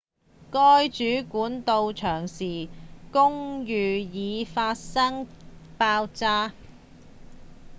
該主管到場時公寓已發生爆炸